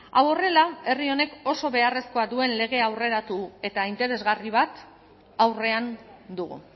hau horrela herri honek oso beharrezkoa duen lege aurreratu eta interesgarri bat aurrean dugu